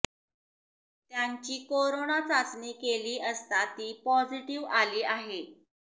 त्यांची कोरोना चाचणी केली असता ती पॉझिटिव्ह आली आहे